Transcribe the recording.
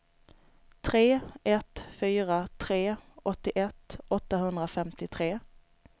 tre ett fyra tre åttioett åttahundrafemtiotre